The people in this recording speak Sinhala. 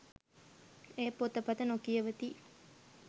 ඒ පොතපත නොකියවති